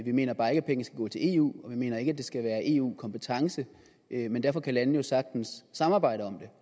mener bare ikke at pengene skal gå til eu og vi mener ikke at det skal være en eu kompetence men derfor kan landene jo sagtens samarbejde om det